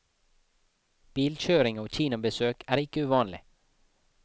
Bilkjøring og kinobesøk er ikke uvanlig.